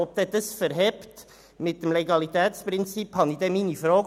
Ob sich dies mit dem Legalitätsprinzip verträgt, bezweifle ich.